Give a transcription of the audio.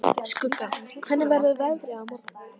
Skugga, hvernig er veðrið á morgun?